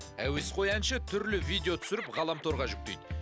әуесқой әнші түрлі видео түсіріп ғаламторға жүктейді